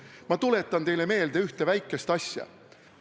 Ma tuletan teile meelde ühte väikest asja.